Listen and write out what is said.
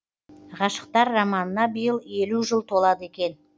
ғашықтар романына биыл елу жыл толады екен